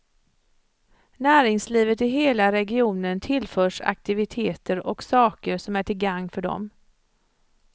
Näringslivet i hela regionen tillförs aktiviteter och saker som är till gagn för dem.